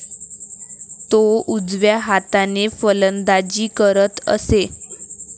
तो उजव्या हाताने फलंदाजी करत असे.